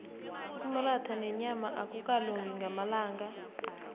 umratha nenyama akukalungi ngamalanga